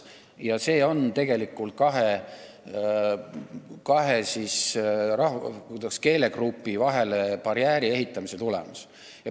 See on tegelikult kahe keelegrupi vahele barjääri ehitamise tulemus.